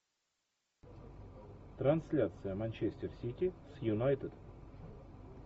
трансляция манчестер сити с юнайтед